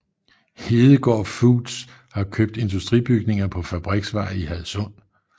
Hedegaard Foods har købt industribygninger på Fabriksvej i Hadsund